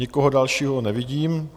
Nikoho dalšího nevidím.